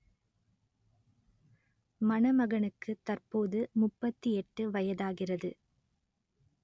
மணமகனுக்கு தற்போது முப்பத்தி எட்டு வயதாகிறது